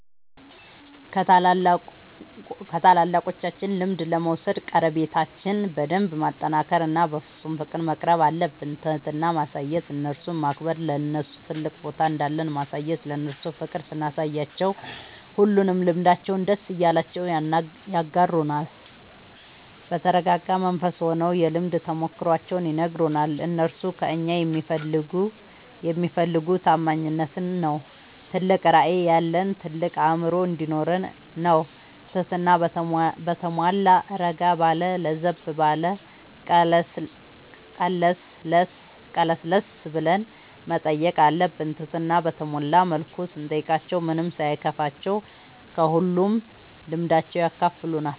ከታላላቆቻችን ልምድ ለመውሰድ ቀረቤታችን በደንብ ማጠናከር እና በፍፁም ፍቅር መቅረብአለብን። ትህትና ማሳየት እነርሱን ማክበር ለነርሱ ትልቅ ቦታ እንዳለን ማሳየት እነርሱ ፍቅር ስናሳያቸው ሁሉንም ልምዳቸውን ደስ እያላቸው ያጋሩናል። በተረጋጋ መንፈስ ሆነው የልምድ ተሞክሯቸውን ይነግሩናል። እነርሱ ከእኛ የሚፈልጉ ታማኝነታችን ነው ትልቅ ራዕይ ያለን ታልቅ አእምሮ እንዲኖረን ነው ትህትና በተሟላ እረጋ ባለ ለዘብ ብሎ ቀለስለስ ብለን መጠየቅ አለብን ትህትና በተሞላ መልኩ ስንጠይቃቸው ምንም ሳይከፋቸው ከሁሉም ልምዳቸው ያካፍሉናል።